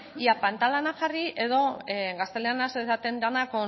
ea pantalanak jarri edo gazteleraz esaten dena